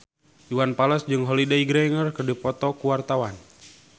Iwan Fals jeung Holliday Grainger keur dipoto ku wartawan